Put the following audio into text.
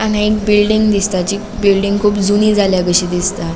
हांगा एक बिल्डिंग दिसता जी बिल्डिंग कुब जुनी जाल्या कशी दिसता.